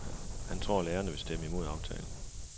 Han tror lærerne vil stemme imod aftalen.